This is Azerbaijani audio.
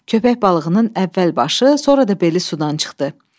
Köpək balığının əvvəl başı, sonra da beli sudan çıxdı.